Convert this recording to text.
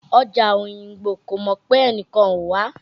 Ọjà Òyìngbò kò mọ̀ pé ẹnìkan ò wá